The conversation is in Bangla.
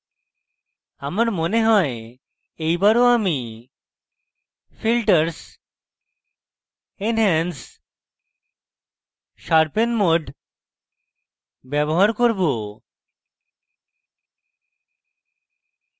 আমার mode হয় এই বারও আমি filters enhance sharpen mode ব্যবহার করব